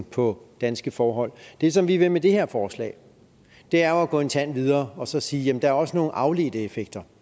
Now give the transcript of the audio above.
på danske forhold det som vi vil med det her forslag er jo at gå en tand videre og så sige jamen der er også nogle afledte effekter